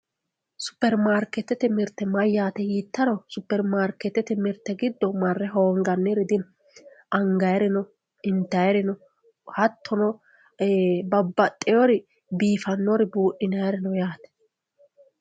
supermarikeetete mirte maati yiittaro supermarikeetete mirte giddo marre hoonganiri dino angayeereno intayiireno hattono babbaxiyoori biifannori buuxinayiiri no yaate.